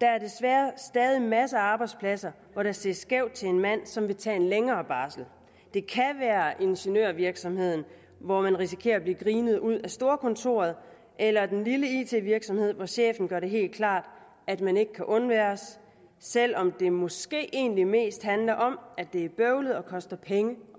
der er desværre stadig masser af arbejdspladser hvor der ses skævt til en mand som vil tage en længere barsel det kan være ingeniørvirksomheden hvor man risikerer at blive grinet ud af storkontoret eller den lille it virksomhed hvor chefen gør det helt klart at man ikke kan undværes selv om det måske egentlig mest handler om at det er bøvlet og koster penge